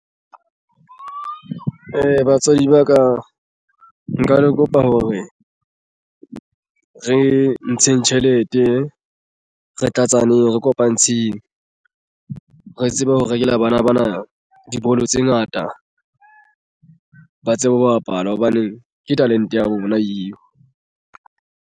Batswadi ba ka nka le kopa hore re ntsheng tjhelete re tla tsaneng re kopane ntsheng re tsebe ho rekela bana bana. Dibolo tse ngata ba tsebe ho bapala hobane ke talente ya habo bona eo.